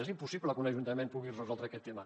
és impossible que un ajuntament pugui resoldre aquest tema